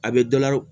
A bɛ dɔ la